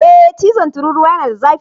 Ee chizon tururuwa yana da zafi.